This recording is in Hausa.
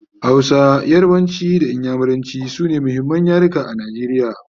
Hausa, yarbanci da inyamuranci sune muhimman yaruka a Najeriya